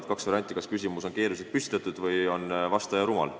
On kaks varianti, kas küsimus on keeruliselt sõnastatud või on vastaja rumal.